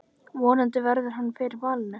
Vonandi verður hann fyrir valinu.